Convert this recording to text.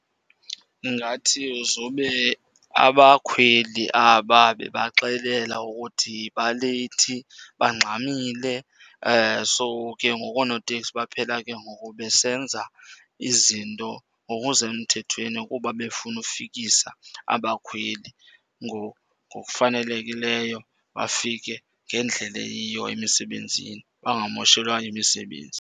Ndingathi uzube abakhweli aba bebaxelela ukuthi baleyithi, bangxamile. So ke ngoku oonoteksi baphela ke ngoku besenza izinto ngokusemthethweni kuba befuna ufikisa abakhweli ngokufanelekileyo, bafike ngendlela eyiyo emisebenzini bangamoshelwa yimisebenzi.